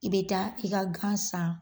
I bɛ taa i ka gan san.